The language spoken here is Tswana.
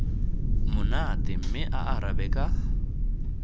monate mme a arabe ka